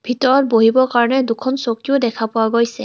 ভিতৰত বহিব কাৰণে দুখন চকীও দেখা পোৱা গৈছে.